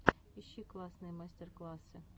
ищи классные мастер классы